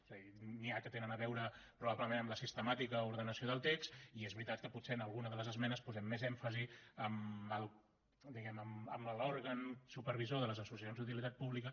és a dir n’hi ha que tenen a veure probablement amb la sistemàtica o ordenació del text i és veritat que potser en alguna de les esmenes posem més èmfasi en l’òrgan supervisor de les associacions d’utilitat pública